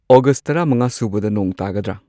August ꯇꯔꯥꯃꯉꯥꯁꯨꯕꯗ ꯅꯣꯡ ꯇꯥꯒꯗ꯭ꯔ